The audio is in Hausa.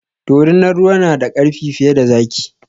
Dorinar ruwa na da ƙarfi fiye da zaki